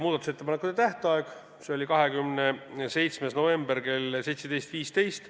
Muudatusettepanekute esitamise tähtaeg oli 27. november kell 17.15.